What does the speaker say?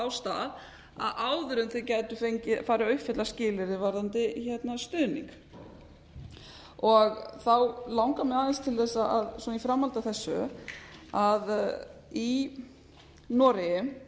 á stað áður en þau gætu farið að uppfylla skilyrði varðandi stuðning þá langar mig aðeins til að í framhaldi af þessu að í noregi